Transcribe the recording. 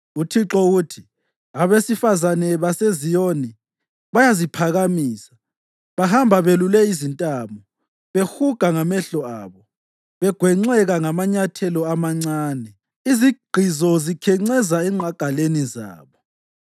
UThixo uthi, “Abesifazane baseZiyoni bayaziphakamisa, bahamba belule izintamo, behuga ngamehlo abo, begwenxeka ngamanyathelo amancane, izigqizo zikhencezela enqagaleni zabo.